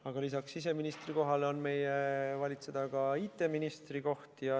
Aga lisaks siseministrikohale on meie valitseda ka IT-ministri koht.